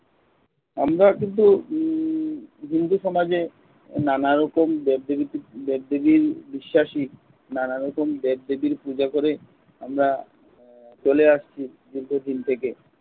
আমরা কিন্তু উম হিন্দু সমাজে নানা রকম দেব-দেবী, দেব-দেবীর বিশ্বাসী। নানা রকম দেব দেবীর পূজা করে আমরা চলে আসছি দীর্ঘদিন থেকে